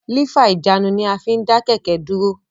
Lífà ìjánu ní a fín dá kẹ̀kẹ́ dúró